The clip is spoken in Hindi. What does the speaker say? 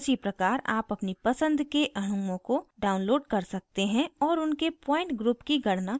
उसी प्रकार आप अपनी पसंद के अणुओं को download कर सकते हैं और उनके point group की गणना कर सकते हैं